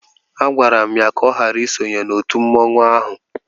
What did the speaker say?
Agwara m ya ka ọ ghara isonye na otu mmanwụ ahụ